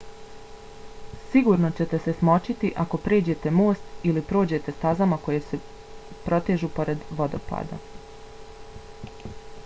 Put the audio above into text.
sigurno ćete se smočiti ako pređete most ili prođete stazama koje se protežu pored vodopada